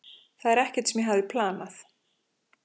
Þetta er ekkert sem ég hafði planað.